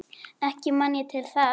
Ekki man ég til þess.